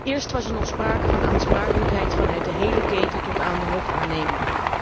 Eerst was er nog sprake van aansprakelijkheid vanuit de hele keten tot aan de hoofdaannemer.